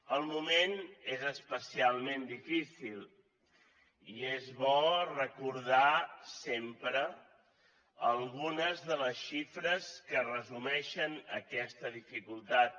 el moment és especialment difícil i és bo recordar sempre algunes de les xifres que resumeixen aquesta dificultat